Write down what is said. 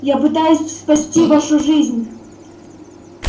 я пытаюсь спасти вашу жизнь